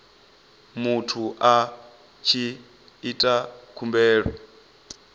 muthu a tshi ita khumbelo